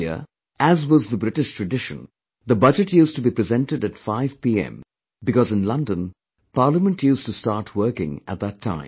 Earlier, as was the British tradition, the Budget used to be presented at 5 pm because in London, Parliament used to start working at that time